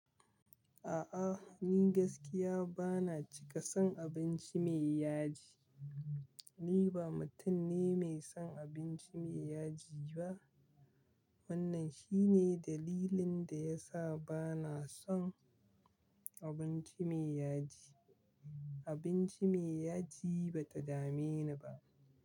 A'a, ni gaskiya ba na cika son abinci mai yaji. Ni ba mutum ne mai son abinci mai yaji ba. Wannan shine dalilin da ya sa ba na son abinci mai yaji. Abinci mai yaji ba ta dame ni ba.